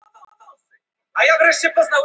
Dýraríkið er að breytast